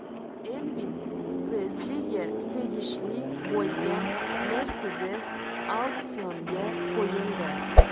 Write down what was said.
Elvis Presliga tegishli bo‘lgan Mercedes auksionga qo‘yildi.